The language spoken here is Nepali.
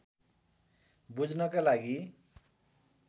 बुझ्नका लागि